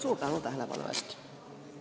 Suur tänu tähelepanu eest!